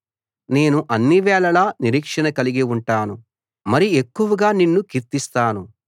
నేను అన్నివేళలా నిరీక్షణ కలిగి ఉంటాను మరి ఎక్కువగా నిన్ను కీర్తిస్తాను